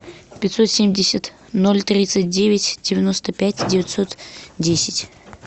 пятьсот семьдесят ноль тридцать девять девяносто пять девятьсот десять